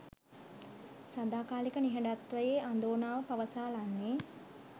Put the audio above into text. සදාකාලික නිහඬත්වයේ අඳෝනාව පවසාලන්නේ